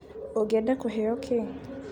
ũngĩenda kũheo kĩ?